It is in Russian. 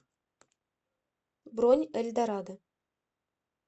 бронь эльдорадо